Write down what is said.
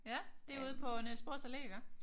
Ja det er ude på Niels Bohrs Allé iggå?